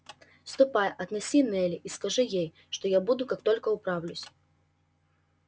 ступай отнеси нелли и скажи ей что я буду как только управлюсь